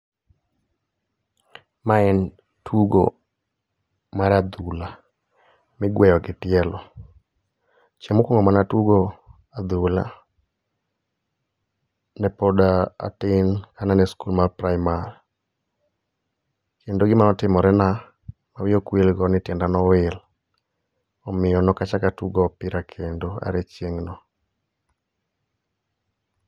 Mae en tugo mar adhula migweyo gi tielo. Chieng' mokuongo mane atugo adhula, ne pod atin ka an e school mar primar. Kendo gima notimore na, ma wiya okwil go, ni tienda nowil. Omiyo nokachak atugo opira kendo are chieng' no.